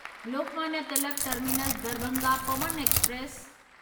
Lokmanya Tilak terminus Darbhanga Pawan express